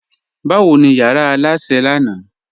Bawo ni yara alásẹ̀ lánà?